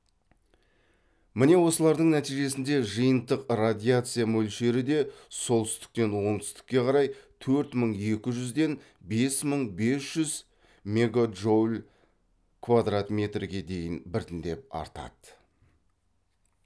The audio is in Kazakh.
міне осылардың нәтижесінде жиынтық радиация мөлшері де солтүстіктен оңтүстікке қарай төрт мың екі жүзден бес мың бес жүз мегаджоуль квадрат метрге дейін біртіндеп артады